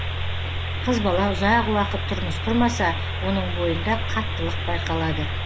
қыз бала ұзақ уақыт тұрмыс құрмаса оның бойында қаттылық байқалады